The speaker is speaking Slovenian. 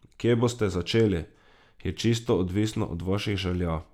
Kje boste začeli, je čisto odvisno od vaših želja.